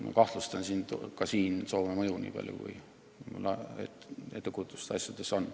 Ma kahtlustan ka selles Soome mõju, nii palju, kui mul ettekujutust asjadest on.